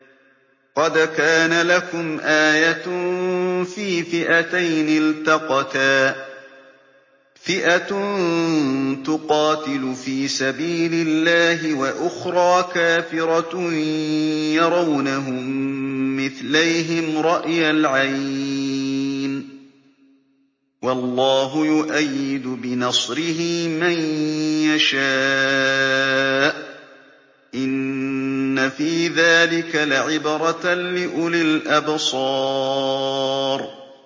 قَدْ كَانَ لَكُمْ آيَةٌ فِي فِئَتَيْنِ الْتَقَتَا ۖ فِئَةٌ تُقَاتِلُ فِي سَبِيلِ اللَّهِ وَأُخْرَىٰ كَافِرَةٌ يَرَوْنَهُم مِّثْلَيْهِمْ رَأْيَ الْعَيْنِ ۚ وَاللَّهُ يُؤَيِّدُ بِنَصْرِهِ مَن يَشَاءُ ۗ إِنَّ فِي ذَٰلِكَ لَعِبْرَةً لِّأُولِي الْأَبْصَارِ